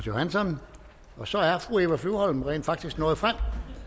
johansson så er fru eva flyvholm rent faktisk nået frem